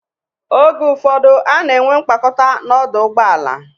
Oge ụfọdụ, a na-enwe mkpakọta n'ọdụ ụgbọala.